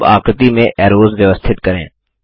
अब आकृति में ऐरोज़ व्यवस्थित करें